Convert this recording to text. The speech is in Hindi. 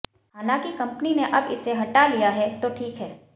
हालांकि कम्पनी ने अब इसे हटा लिया है तो ठीक है